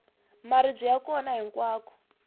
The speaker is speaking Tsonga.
maribye ya kona hinkwako